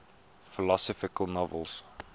philosophical novels